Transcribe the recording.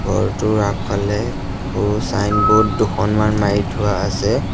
ঘৰটোৰ আগফালে সৰু চাইনব'ৰ্ড দুখনমান মাৰি থোৱা আছে।